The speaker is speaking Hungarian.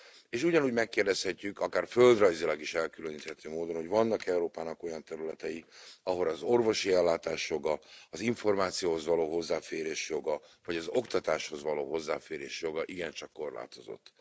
És ugyanúgy megkérdezhetjük, akár földrajzilag is elkülöníthető módon, hogy vannak Európának olyan területei, ahol az orvosi ellátás joga, az információhoz való hozzáférés joga, vagy az oktatáshoz való hozzáférés joga igencsak korlátozott.